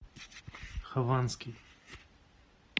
хованский